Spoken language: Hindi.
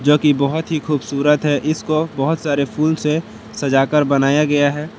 बहोत ही खूबसूरत है इसको बहोत सारे फूल से सजाकर बनाया गया है।